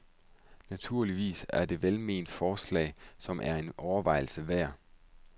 Naturligvis er det et velment forslag, som er en overvejelse værd.